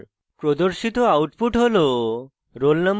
প্রদর্শিত output হল